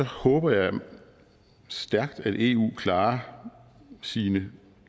håber jeg da stærkt at eu klarer sine